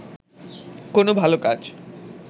কোন ভাল কাজ